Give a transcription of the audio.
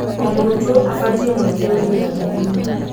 O mũrutwo abatie mweke wĩiganaine.